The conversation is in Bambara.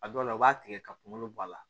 A dɔw la u b'a tigɛ ka kunkolo bɔ a la